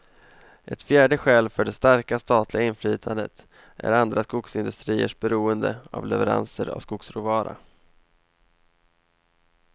Ett fjärde skäl för det starka statliga inflytandet är andra skogsindustriers beroende av leveranser av skogsråvara.